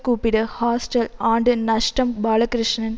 கூப்பிடு ஹாஸ்டல் ஆண்டு நஷ்டம் பாலகிருஷ்ணன்